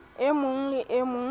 e mong le e mong